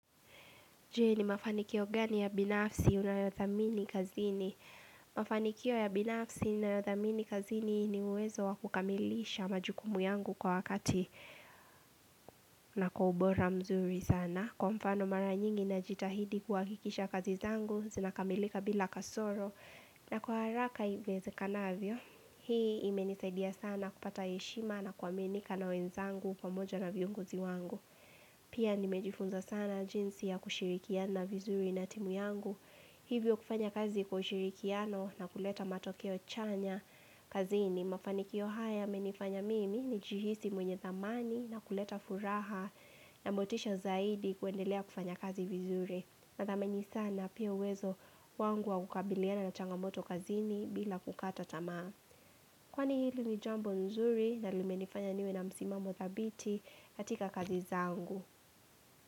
Je, ni mafanikio gani ya binafsi unayothamini kazini? Mafanikio ya binafsi ninayothamini kazini ni uwezo wa kukamilisha majukumu yangu kwa wakati na kwa ubora mzuri sana. Kwa mfano mara nyingi najitahidi kuhakikisha kazi zangu, zinakamilika bila kasoro. Na kwa haraka iwezekanavyo, hii imenisaidia sana kupata heshima na kuaminika na wenzangu pamoja na viongozi wangu. Pia nimejifunza sana jinsi ya kushirikiana vizuri na timu yangu, hivyo kufanya kazi kwa ushirikiano na kuleta matokeo chanya kazini. Mafaniki haya yamenifanya mimi nijihisi mwenye thamani na kuleta furaha na motisha zaidi kuendelea kufanya kazi vizuri. Na thameni sana pia uwezo wangu wa kukabiliana na changamoto kazini bila kukata tamaa. Kwani hili ni jambo nzuri na limenifanya niwe na msimamo thabiti katika kazi zangu.